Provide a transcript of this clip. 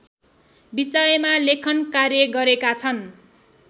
विषयमा लेखनकार्य गरेका छन्